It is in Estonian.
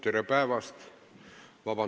Tere päevast!